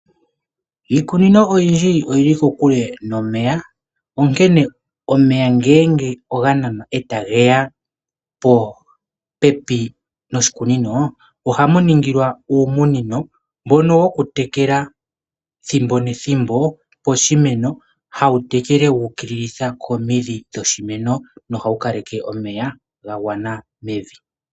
Iikunino oyindji oyili kokule nomeya onkene omeya ngele ogananwa etageya popepi noshikunino. Ohamu ningilwa uumunino mbono wokutekela thimbo nethimbo poshimeno, hawu tekele wuukililitha komidhi dhoshimeno nohawu kaleke omeya gagwana mevi.